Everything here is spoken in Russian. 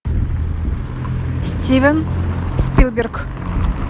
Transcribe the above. стивен спилберг